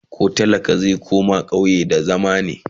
koh talaka zai koma ƙauye da zama be?